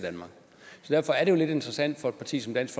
derfor er det jo lidt interessant for et parti som dansk